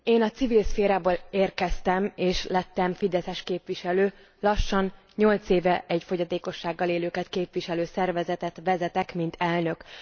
Én a civil szférából érkeztem, és lettem Fideszes képviselő, lassan 8 éve egy fogyatékossággal élőket képviselő szervezetet vezetek mint elnök.